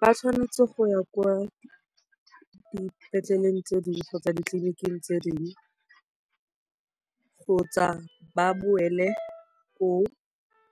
Ba tshwanetse go ya kwa dipetleleng tse dingwe kgotsa ditleliniking tse dingwe kgotsa ba boele koo